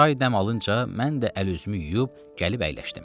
Çay dəm alınca mən də əl-üzümü yuyub gəlib əyləşdim.